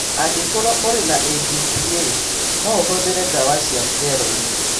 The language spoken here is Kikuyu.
Angĩkorũo ũrĩ na ABPA, no ũhũthĩre ndawa cia steroids.